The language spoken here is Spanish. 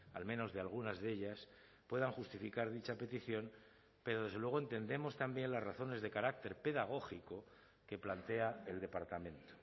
al menos de algunas de ellas puedan justificar dicha petición pero desde luego entendemos también las razones de carácter pedagógico que plantea el departamento